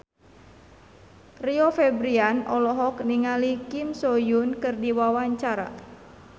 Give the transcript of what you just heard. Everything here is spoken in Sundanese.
Rio Febrian olohok ningali Kim So Hyun keur diwawancara